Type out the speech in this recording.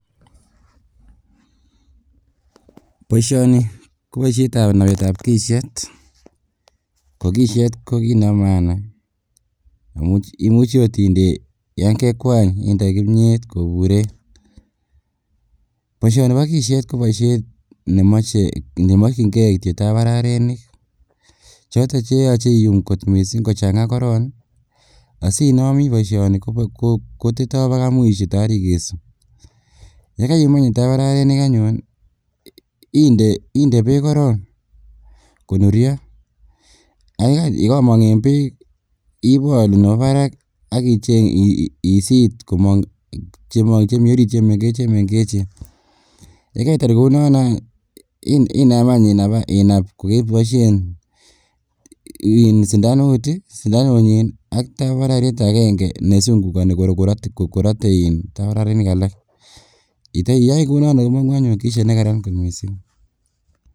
Boishoni ko boishetab nebetab kisiet ko kisiet ko kiit nebo maana imuchi oot inde yoon kekwany indoi kimnyeet koburen, boishoni bo kisiet ko boishet nemokying'e kityok tambararinik choton cheyoche iyuum kot mising kochang'a korong asinobi boishoni koteto bakai mwisho toor ikesu yekaiyumu tambararinik anyun inde beek korong konuryo ak yekomong en beek ibolu nebo barak ak isiit komong chemong chemii oriit chemeng'echen, yekeitar kounono aany inaam inab any kokeboishen sindanunyin ak tambararit akeng'e nesung'ukoni korote iin tambararinik alak iteiyoi kounondon komong'u anyun kisiet nekaran kot mising.